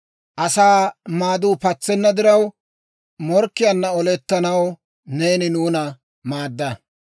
Asaa maaduu patsenna diraw, morkkiyaanna olettanaw neeni nuuna maadda.